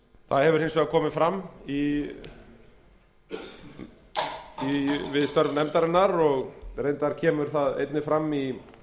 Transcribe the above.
það hefur hins vegar komið fram við störf nefndarinnar og reyndar kemur það einnig fram í